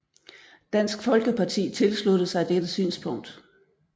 Dansk Folkeparti tilsluttede sig dette synspunkt